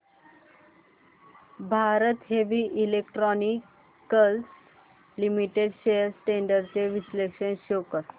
Bharat heavy electricals limited shares trends चे विश्लेषण show कर